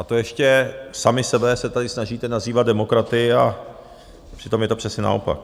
A to ještě sami sebe se tady snažíte nazývat demokraty, a přitom je to přesně naopak.